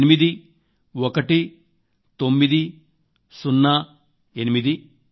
8190881908 ఎనిమిది